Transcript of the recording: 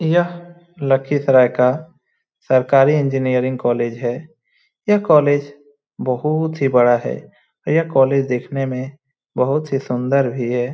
यह लखीसराय का सरकारी इंजीनियरिंग कॉलेज है यह कॉलेज बहुत ही बड़ा है यह कॉलेज देखने में बहुत ही सुंदर भी है।